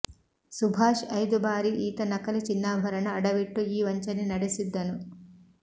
ಸುಭಾಷ್ ಐದು ಬಾರಿ ಈತ ನಕಲಿ ಚಿನ್ನಾಭರಣ ಅಡವಿಟ್ಟು ಈ ವಂಚನೆ ನಡೆಸಿದ್ದನು